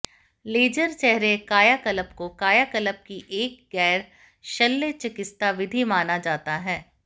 laser चेहरे कायाकल्प को कायाकल्प की एक गैर शल्य चिकित्सा विधि माना जाता है